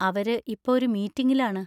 അവര് ഇപ്പൊ ഒരു മീറ്റിങ്ങിലാണ്.